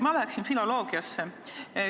Ma läheksin filoloogiasse.